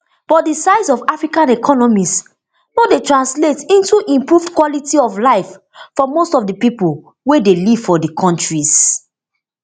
but di size of africa economies no dey translate into improved quality of life for most of di pipo wey dey live for di kontris